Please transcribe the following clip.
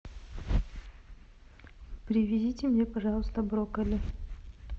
привезите мне пожалуйста брокколи